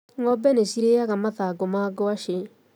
Ng'ombe nĩcirĩnyaga mathangũ ma ngwacĩ.